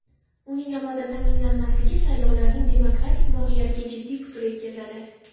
Uning amalda ta’minlanmasligi saylovlarning demokratik mohiyatiga jiddiy putur yetkazadi.